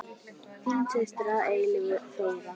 Þín systir að eilífu, Þóra.